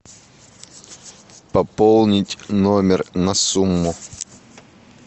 пополнить номер на сумму